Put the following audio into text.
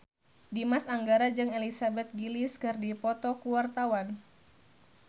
Dimas Anggara jeung Elizabeth Gillies keur dipoto ku wartawan